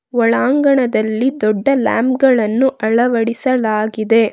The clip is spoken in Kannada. ಒಳಾಂಗಣದಲ್ಲಿ ದೊಡ್ಡ ಲ್ಯಾಂಪ್ ಗಳನ್ನು ಅಳವಡಿಸಲಾಗಿದೆ.